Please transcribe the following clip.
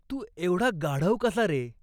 तू एवढा गाढव कसा रे ?